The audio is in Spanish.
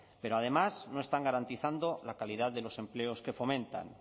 pero además no están garantizando la calidad de los empleos que fomentan